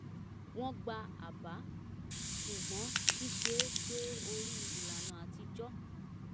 wọ́n gba àbá ṣùgbọ́n ṣíṣe é gbé orí ìlànà atijọ́